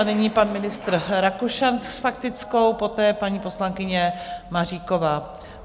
A nyní pan ministr Rakušan s faktickou, poté paní poslankyně Maříková.